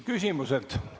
Küsimused.